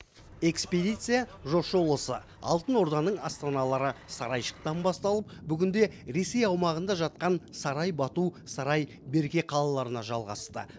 экспедия жошы ұлысы алтын орданың астаналары сарайшықтан басталып бүгінде ресей аумағында жатқан сарай бату сарай берке қалаларына жалғасты